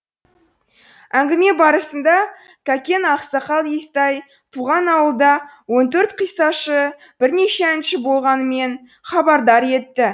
әңгіме барысында кәкен ақсақал естай туған ауылда он төрт қиссашы бірнеше әнші болғанынан хабардар етті